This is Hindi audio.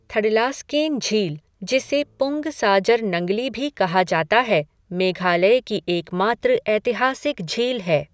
थडलास्केन झील जिसे पुंग साजर नंगली भी कहा जाता है, मेघालय की एकमात्र ऐतिहासिक झील है।